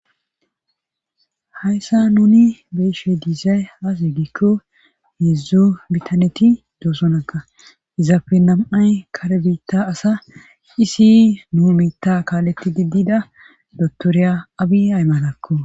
hayssa nuni be'ishey diizay has eggikko heedzdzu bitaneti doosonaga izaafe nam7ay kare biitta asa isi nu miitta kaaletti diddida dottoriya abi aymalakko